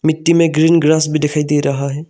D में green grass भी दिखाई दे रहा है।